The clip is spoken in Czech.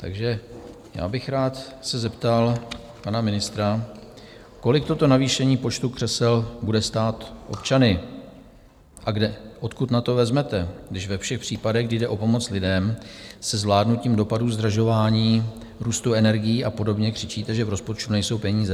Takže já bych rád se zeptal pana ministra, kolik toto navýšení počtu křesel bude stát občany a odkud na to vezmete, když ve všech případech, kdy jde o pomoc lidem se zvládnutím dopadů zdražování, růstu energií a podobně křičíte, že v rozpočtu nejsou peníze?